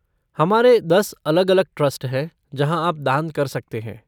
हमारे दस अलग अलग ट्रस्ट हैं जहाँ आप दान कर सकते हैं।